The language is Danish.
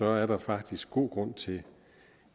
er der faktisk god grund til